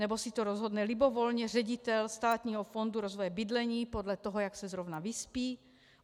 Nebo si to rozhodne libovolně ředitel Státního fondu rozvoje bydlení podle toho, jak se zrovna vyspí?